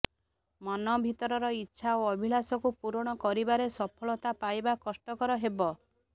ମନ ଭିତରର ଇଚ୍ଛା ଓ ଅଭିଳାଷକୁ ପୂରଣ କରିବାରେ ସଫଳତା ପାଇବା କଷ୍ଟକର ହେବ